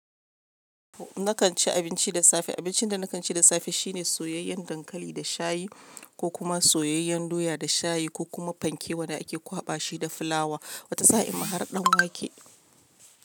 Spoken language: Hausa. Na kan ci abinci da safe. Abincin da na kan ci da safe shine soyayyen dankali da shayi ko kuma soyayyen doya da shayi ko kuma fanke wanda ake kwaɓa shi da fulawa. Wata sa'in ma har ɗan wake.